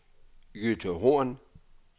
Jytte Horn